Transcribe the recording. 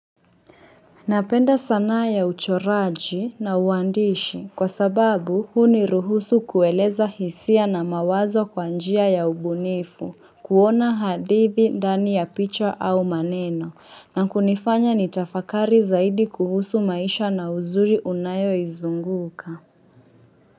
Napenda sanaa ya uchoraji na uandishi kwa sababu huniruhusu kueleza hisia na mawazo kwa njia ya ubunifu kuona hadithi ndani ya picha au maneno na kunifanya nitafakari zaidi kuhusu maisha na uzuri unayoizunguka.